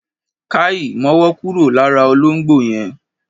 Káì! Mọ́wọ́ kúrò lára olóngbò yẹn!